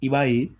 I b'a ye